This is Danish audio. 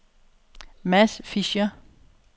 Mads Fischer